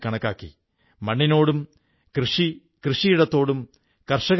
ഇവിടെ ജീവിക്കുന്ന സുഹൃത്ത് പൊൻ മാരിയപ്പൻ മുടി വെട്ടുന്ന തൊഴിലിൽ ഏർപ്പെട്ടിരിക്കുന്നു ഒരു സലൂൺ നടത്തുന്നു